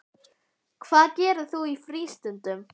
Hvað gerir þú í frístundum?